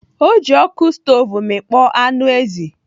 Ọ ji ọkụ stov mịkpọ anụ ezi.